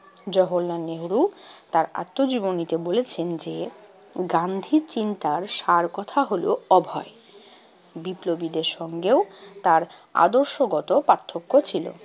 জওহরলাল নেহেরু তার আত্মজীবনীতে বলেছেন যে, গান্ধী চিন্তার সারকথা হলো অভয়। বিপ্লবীদের সঙ্গেও তার আদর্শগত পার্থক্য ছিল।